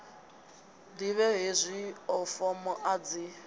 ḓivhe hezwio fomo a dzi